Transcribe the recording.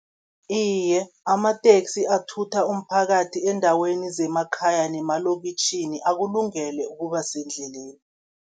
Iye, amateksi athutha umphakathi eendaweni zemakhaya nemalokitjhini, akulungele ukuba sendleleni.